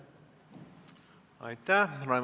Aitäh!